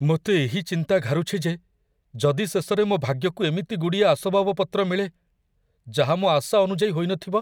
ମୋତେ ଏହି ଚିନ୍ତା ଘାରୁଛି ଯେ ଯଦି ଶେଷରେ ମୋ ଭାଗ୍ୟକୁ ଏମିତି ଗୁଡ଼ିଏ ଆସବାବପତ୍ର ମିଳେ, ଯାହା ମୋ ଆଶା ଅନୁଯାୟୀ ହୋଇନଥିବ!